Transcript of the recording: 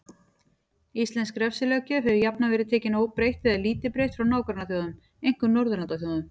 Íslensk refsilöggjöf hefur jafnan verið tekin óbreytt eða lítið breytt frá nágrannaþjóðum, einkum Norðurlandaþjóðum.